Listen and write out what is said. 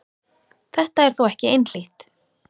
Þetta er þó ekki einhlítt.